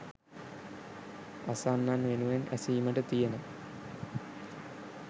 අසන්නන් වෙනුවෙන් ඇසීමට තියෙන